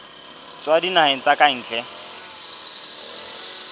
tswa dinaheng tsa ka ntle